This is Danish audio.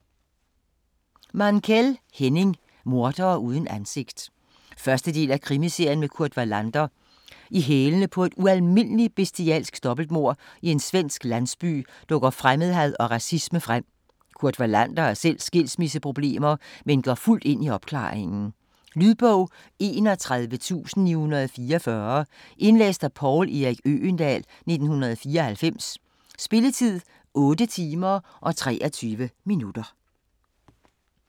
Mankell, Henning: Mordere uden ansigt 1. del af Krimiserien med Kurt Wallander. I hælene på et ualmindeligt bestialsk dobbeltmord i en svensk landsby dukker fremmedhad og racisme frem. Kurt Wallander har selv skilsmisseproblemer, men går fuldt ind i opklaringen. Lydbog 31944 Indlæst af Poul Erik Øgendahl, 1994. Spilletid: 8 timer, 23 minutter.